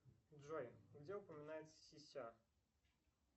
джой где упоминается сися